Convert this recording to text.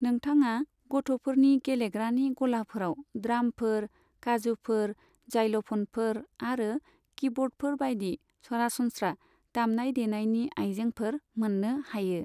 नोंथाङा गथ'फोरनि गेलेग्रानि गलाफोराव ड्रामफोर, काजुफोर, जाइल'फनफोर आरो किबर्डफोर बायदि सरासनस्रा दामनाय देनायनि आयजेंफोर मोन्नो हायो।